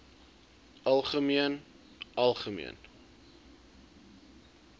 algemeen algemeen